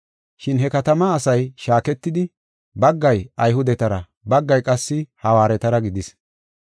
Shin he katama asay shaaketidi, baggay Ayhudetara baggay qassi Hawaaretara gidis.